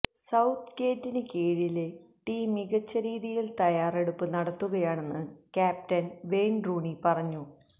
south ഗേറ്റിന് കീഴില് team മികച്ച രീതിയില് തയ്യാറെടുപ്പ് നടത്തുകയാണെന്ന് ക്യാപ്റ്റന് വെയിന് റൂണി പറഞ്ഞു